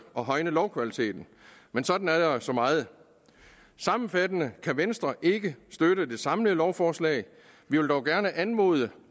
og højne lovkvaliteten men sådan er der så meget sammenfattende kan venstre ikke støtte det samlede lovforslag vi vil dog gerne anmode